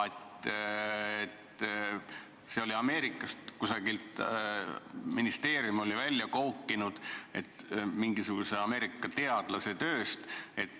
Selle oli ministeerium välja koukinud mingisuguse Ameerika teadlase tööst.